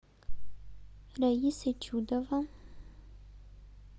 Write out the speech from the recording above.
раиса чудова